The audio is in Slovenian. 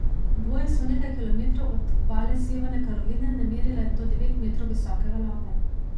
Boje so nekaj kilometrov od obale Severne Karoline namerile do devet metrov visoke valove.